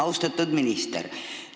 Austatud minister!